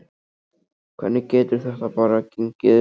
Hvernig getur þetta bara gengið upp?